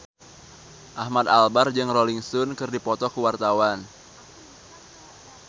Ahmad Albar jeung Rolling Stone keur dipoto ku wartawan